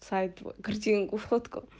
сайт картинку фотку